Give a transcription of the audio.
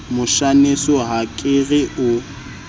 moshaneso ha ke re o